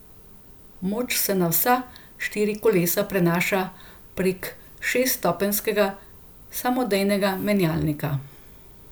Moč se na vsa štiri kolesa prenaša prek šeststopenjskega samodejnega menjalnika.